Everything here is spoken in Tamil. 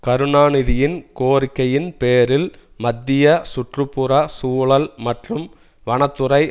கருணாநிதியின் கோரிக்கையின் பேரில் மத்திய சுற்றுப்புறச் சூழல் மற்றும் வனத்துறை